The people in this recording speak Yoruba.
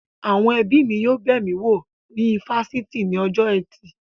Àwọn ẹbí mi yóò bẹ̀ mí wo ní ifásitì ní ọjọ́ ẹtì